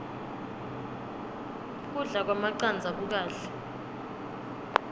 kudla kwemacandza kukahle